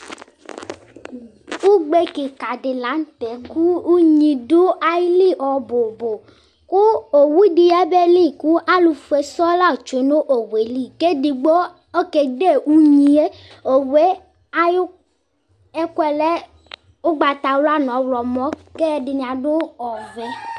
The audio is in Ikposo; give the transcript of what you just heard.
ukpɛkikadili lanutɛ ku ʊɣidu ayili nububu ku ɔwudi abɛyeli ku aluƒɛsuɔ latsɛ nu ɔwɛli ɛdigɔyɛ ɛdɛ uɣiyɛ ɔwɛ kuɛlɛ ukpatayɛa nu ɔwlumɔ kɛdini abu ɔvɛ